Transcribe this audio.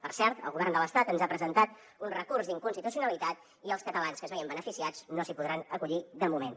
per cert el govern de l’estat ens ha presentat un recurs d’inconstitucionalitat i els catalans que se’n veien beneficiats no s’hi podran acollir de moment